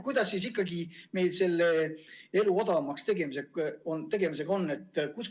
Kuidas siis ikkagi meil selle elu odavamaks tegemisega on?